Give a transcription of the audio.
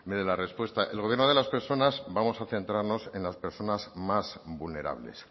dé la respuesta el gobierno de las personas vamos a centrarnos en las personas más vulnerables